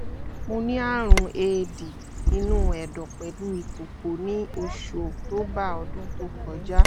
mo ní àrùn éèdì inú ẹ̀dọ̀ pẹ̀lú ìkòkò ní oṣù october ọdún tó kọjá